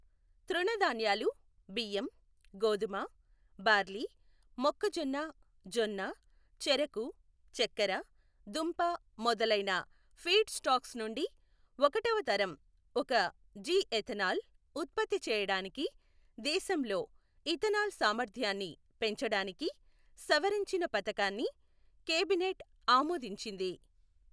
తృణధాన్యాలు బియ్యం, గోధుమ, బార్లీ, మొక్కజొన్న జొన్న, చెరకు, చక్కెర దుంప మొదలైన ఫీడ్ స్టాక్స్ నుండి ఒకటవ తరం ఒక జి ఇథనాల్ ఉత్పత్తి చేయడానికి దేశంలో ఇథనాల్ సామర్థ్యాన్ని పెంచడానికి సవరించిన పథకాన్ని కేబినెట్ ఆమోదించింది.